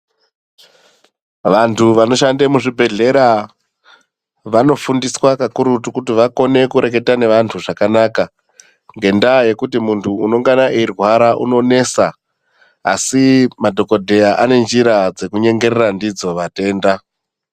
Vantu vanoshande muzvibhedhlera vanofundiswa kakurutu kuti vakone varekete neantu zvakanaka ngendaya yekuti muntu anengana eyirwara anonesa asi madhokodheya anenzira dzeku nyengerera ndidzo vatenda.